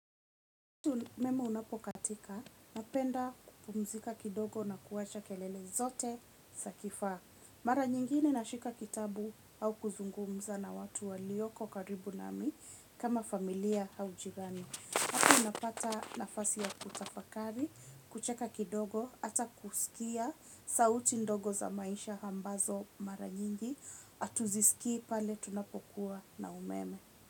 Umeme unapokatika, napenda kupumzika kidogo na kuwacha kelele zote za kifaa. Mara nyingine nashika kitabu au kuzungumza na watu walioko karibu nami kama familia au jirani. Hapo inapata nafasi ya kutafakari, kucheka kidogo, hata kusikia, sauti ndogo za maisha ambazo mara nyingi, hatuzisikii pale tunapokuwa na umeme.